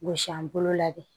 Gosi an bolo la de